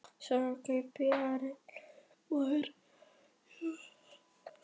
Svo kraup Ari lögmaður og tók á móti Kristi.